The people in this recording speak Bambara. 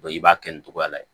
i b'a kɛ nin cogoya la